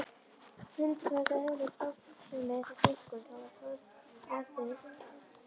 Hindrar þetta eðlilega starfsemi þess, einkum þó aðstreymi blóðsins.